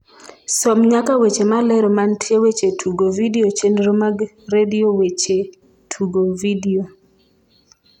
som nyaka weche malero mantie weche tugo vidio chenro mag redio weche tugo vidio